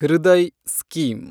Hriday scheme